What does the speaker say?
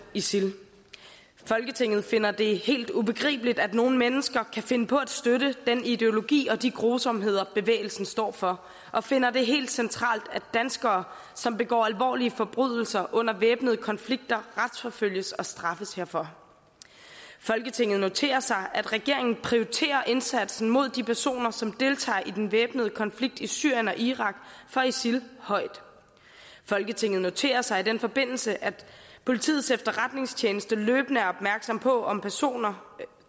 isil folketinget finder det helt ubegribeligt at nogen mennesker kan finde på at støtte den ideologi og de grusomheder bevægelsen står for og finder det helt centralt at danskere som begår alvorlige forbrydelser under væbnede konflikter retsforfølges og straffes herfor folketinget noterer sig at regeringen prioriterer indsatsen mod de personer som deltager i den væbnede konflikt i syrien og irak for isil højt folketinget noterer sig i den forbindelse at politiets efterretningstjeneste løbende er opmærksom på om personer